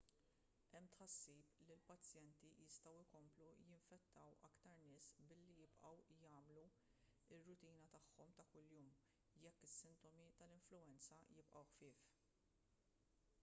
hemm tħassib li l-pazjenti jistgħu jkomplu jinfettaw aktar nies billi jibqgħu jagħmlu r-rutina tagħhom ta' kuljum jekk is-sintomi tal-influwenza jibqgħu ħfief